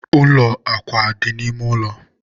ụlọ akwa na-adị n'ime ụlọ